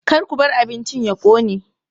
Ka ku bar abincin ya ƙone!